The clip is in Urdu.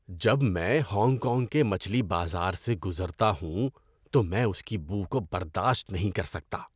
جب میں ہانگ کانگ کے مچھلی بازار سے گزرتا ہوں تو میں اس کی بو کو برداشت نہیں کر سکتا۔